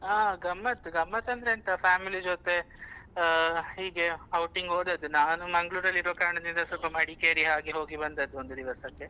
ಆ ಗಮ್ಮತ್ ಗಮ್ಮತ್ ಅಂದ್ರೆ ಎಂತ family ಜೊತೆ ಅಹ್ ಹೀಗೆ outing ಗೆ ಹೋದದ್ದು ನಾನು Manglore ಲ್ಲಿ ಇರುವ ಕಾರಣದಿಂದ ಸ್ವಲ್ಪ Madikeri ಹಾಗೆ ಹೋಗಿ ಬಂದದ್ದು ಒಂದು ದಿವಸಕ್ಕೆ.